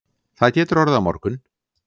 Það getur orðið á morgun